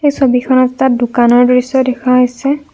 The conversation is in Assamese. এই ছবিখনত এটা দোকানৰ দৃশ্য দেখা হৈছে।